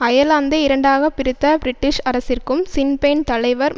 அயர்லாந்தை இரண்டாக பிரித்த பிரிட்டிஷ் அரசிற்கும் சின் பெயின் தலைவர்